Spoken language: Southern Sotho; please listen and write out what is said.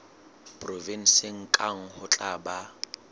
provenseng kang ho tla ba